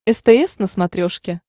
стс на смотрешке